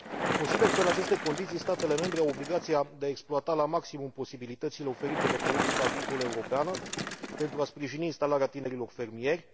Consider că, în aceste condiții, statele membre au obligația de a exploata la maximum posibilitățile oferite de politica agricolă europeană pentru a sprijini instalarea tinerilor fermieri.